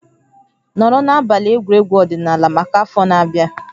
Nọrọ na abalị egwuregwu ọdịnala maka afọ na-abịa